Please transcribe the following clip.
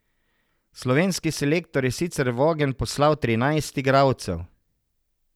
Slovenski selektor je sicer v ogenj poslal trinajst igralcev.